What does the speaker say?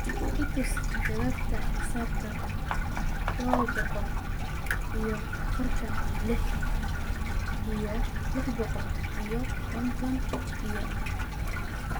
I tus jawaabta xisaabtan laba boqol iyo afartan lix iyo lix boqol iyo konton iyo afar